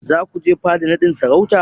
Za ku je fada naɗin sarautar?